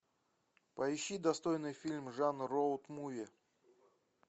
поищи достойный фильм жанр роад муви